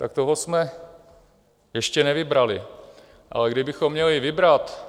Tak toho jsme ještě nevybrali, ale kdybychom měli vybrat